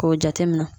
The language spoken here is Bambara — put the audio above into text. K'o jate minɛ